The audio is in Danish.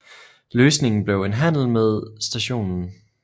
Løsningen blev en handel med St